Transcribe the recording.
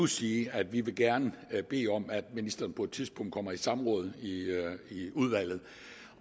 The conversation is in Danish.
sige at vi vi gerne vil bede om at ministeren på et tidspunkt kommer i samråd i udvalget